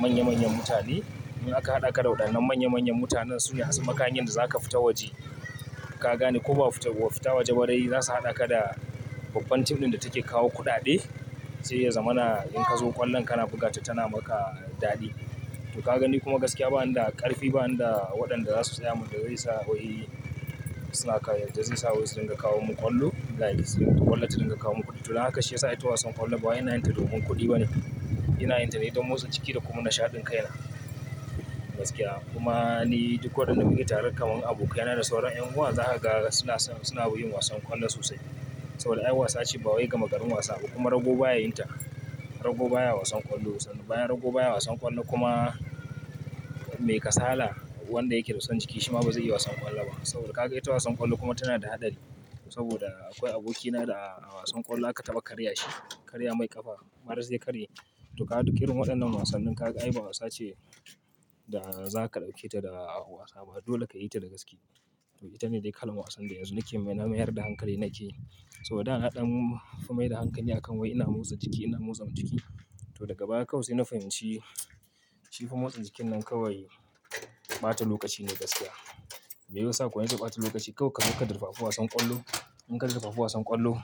manya manyan mutane. In aka haɗa ka da waɗannan manya manyan mutanen su ne zasu maka hanyan da zaka fita waje. Ka gani ko ba fita, ba fita waje ba dai za su haɗa ka da babban team ɗin da take kawo kuɗaɗe. Sai ya zama na in ka zo ƙwallon kana buga ta tana maka daɗi. To ka gani kuma gaskiya ba ni da ƙarfi, ba ni da waɗanda za su tsaya mun dawai yasa wai suna kayar, da zai sa waye suna kawo mun ƙwallo. Like sai mun buga ƙwallo sai mun kawo kuɗi. To nan haka shi yasa ita wasan ƙwallo ba ina yin ta domin kuɗi ba ne. Ina yin ta ne don motsa jiki da kuma nishaɗin kaina gaskiya. Kuma ni duk waɗanda muke tare kamar abokai na da sauran ƴan uwa za ka ga suna, son buga yin wasan ƙwallo sosai. Saboda ai wasa ce ba wai gama garin wasa ba kuma rago baya yin ta. Rago baya wasan ƙwallo. Sannan bayan rago baya wasan ƙwallo kuma me ka sala wanda yake son jiki shi ma bazai yi wasan ƙwallo ba. Saboda ka ga ita wasan ƙwallo kuma tana da haɗari saboda akwai abokina da a wasan ƙwallo aka taɓa karya shi. Karya mai ƙafa. Maras ya karye. To ka ga duk irin waɗannan wasannin ka ga ai ba wasa ce da za ka ɗauke ta da wasa ba. Dole ka yi ta da gaske. To ita ne dai kalan wasan da yanzu nake, na mayar da hankali nake. Saboda dana ɗan fi mai da hankali akan wai ina motsa jiki, ina motsa jiki. To daga baya kawai sai na fahimci shi fa motsa jikin nan kawai ɓata lokaci ne gaskiya. Me yasa kawai nace ɓata lokaci? Kawai ka zuba durfafu wasan ƙwallo. In ka durfafu wasan ƙwallo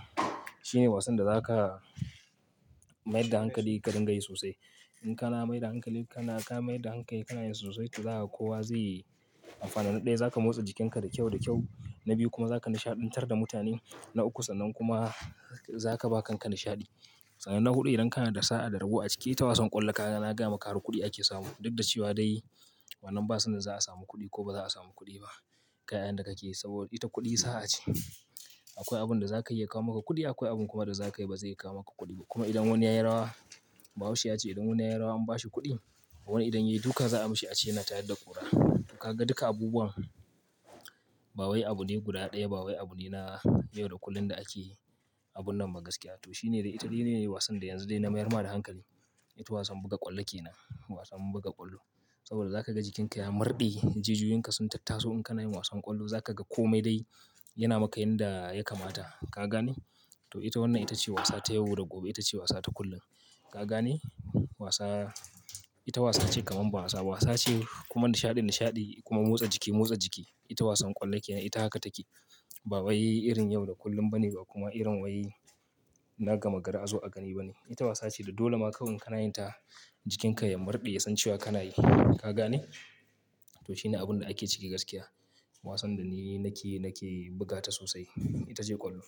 shine wasan da za ka mai da hankali ka dinga yi sosai. In kana mai da hankali, kana ka mai da hankayi, kana yin sosai to za a kowa zai yi amfani. Na ɗaya za ka motsa jikinka da kyau da kyau. Na biyu kuma za ka nishaɗantar da mutane. Na uku sannan kuma za ka ba kanka nishaɗi. Sannan na huɗu idan kana da sa'a da rabo a ciki ita wasan ƙwallo ka ga nagaya maka har kuɗi ake samu. Duk da cewa dai wannan ba sanin za a samu kuɗi ko ba za a samu kuɗi ba. Kai a yandakake saboda ita kuɗi sa'a ce. Akwai abun da za ka iya ya kawo maka kuɗi. Akwai abun kuma da za ka yi ba zai kawo maka kuɗi ba. Kuma idan wani ya yi rawa, Bahaushe ya ce idan wani ya yi rawa an ba shi kuɗi, wani idan ya yi duka za a mashi a ce yana tayar da ƙura. To ka ga duka abubuwan ba wai abune guda ɗaya ba wai abune na yau da kullum da ake abun nan ba gaskiya. To shi ne dai ita shine ne wasan da yanzu dai na mayar ma da hankali. Ita wasan buga ƙwallo ke nan. Wasan buga ƙwallo. Saboda za ka ga jikinka ya murɗe. Jijiyoyinka sun tattaso In kana yin wasan ƙwallo za ka ga kome dai yana maka yanda ya kamata. Ka gane? To ita wannan ita ce wasa ta yau da gobe. Ita ce wasa ta kullum. Ka gane? Wasa ita wasa ce kamar ba wasa. Wasa ce kuma nishaɗi nishaɗi kuma motsa jiki motsa jiki. Ita wasan ƙwallo ke nan. Ita haka take. Ba wai irin yau da kullum ba ne ba kuma irin wai na gama gari a zo a ƙani ba ne. Ita wasa ce da dole ma kawai in kana yin ta jikinka ya murɗe, ya san cewa kana yi. Ka gane? To shi ne abun da ake ciki gaskiya. Wasan da ni nake, nake buga ta sosai. Ita ce ƙwallo.